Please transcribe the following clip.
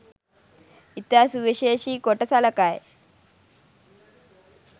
ඉතා සුවිශේෂි කොට සලකයි